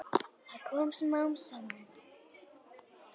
Það kom smám saman.